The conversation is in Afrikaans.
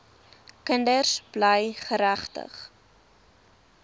kinders bly geregtig